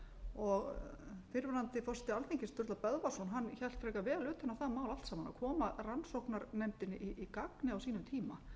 gera það fyrrverandi forseti alþingis sturla böðvarsson hélt frekar vel utan um það mál allt saman að koma rannsóknarnefndinni í gagnið á sínum tíma